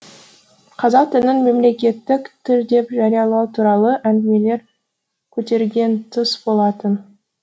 қазақ тілін мемлекеттік тіл деп жариялау туралы әңгімелер көтерген тұс болатын